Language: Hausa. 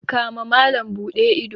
kama malam Bude ido.